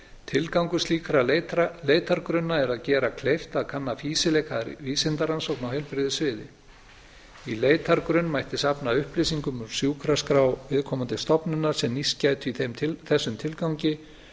tilgangur slíkra leitargrunna er að gera kleift að kanna fýsileika vísindarannrókna á heilbrigðissviði í leitargrunn mætti safna upplýsingum úr sjúkraskrá viðkomandi stofnunar sem nýst gætu í þessum tilgangi